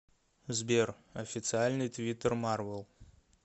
сбер официальный твиттер марвел